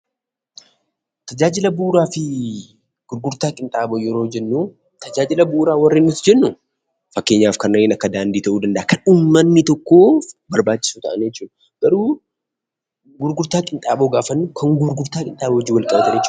Tajaajila bu'uuraa fi gurgurtaa qinxaaboo yeroo jennuu Tajaajila bu'uuraa warreen nuti jennu fakkeenyaf kanneen akka daandii ta'uu danda'a, kan uummanni tokko barbaachisoo ta'anii jechuudha. Garuu gurgurtaa qinxaaboo gaafa jennu kan gurgurtaa qinxaaboo wajjin walqabatudha jechuudha.